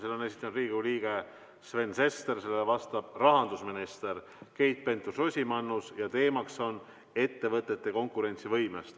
Selle on esitanud Riigikogu liige Sven Sester, sellele vastab rahandusminister Keit Pentus-Rosimannus ja teemaks on ettevõtete konkurentsivõime.